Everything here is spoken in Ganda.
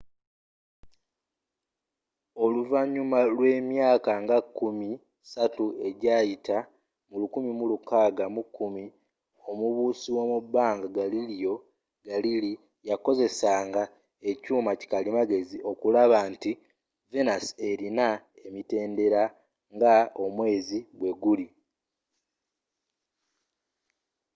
oluvanyuma lw'emyaka nga enkumi satu ejayita mu 1610 omubuusi womubanga galileo galilei yakozesanga ekyuuma kikalimagezi okulaba nti venus elina emitendera nga omweezi bweguli